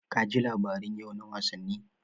Ka ji labaran yau na wasanni?